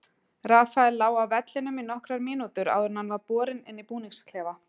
Rafael lá á vellinum í nokkrar mínútur áður en hann var borinn inn í búningsklefa.